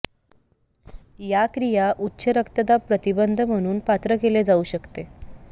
या क्रिया उच्च रक्तदाब प्रतिबंध म्हणून पात्र केले जाऊ शकते